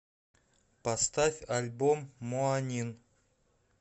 поставь альбом моанин